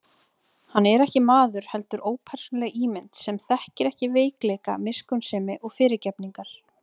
Hann er ekki maður, heldur ópersónuleg ímynd, sem þekkir ekki veikleika miskunnsemi og fyrirgefningar.